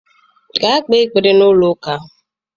Gaa kpee ekpere n'ụlọ ụka!